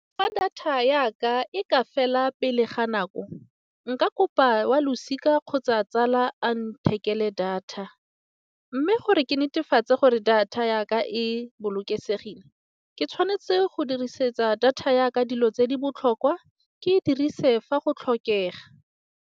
Fa data ya ka e ka fela pele ga nako, nka kopa wa losika kgotsa tsala a ntheketseng le data. Mme gore ke netefatse gore data ya ka e bolokesegile, ke tshwanetse go dirisetsa data ya ka dilo tse di botlhokwa ke dirise fa go tlhokega.